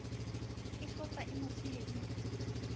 e hlotsa e mo tseiditse